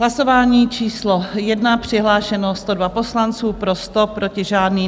Hlasování číslo 1, přihlášeno 102 poslanců, pro 100, proti žádný.